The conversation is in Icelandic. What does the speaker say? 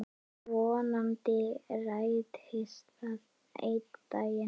Vonandi rætist það einn daginn.